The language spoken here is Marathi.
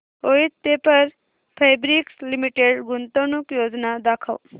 वोइथ पेपर फैब्रिक्स लिमिटेड गुंतवणूक योजना दाखव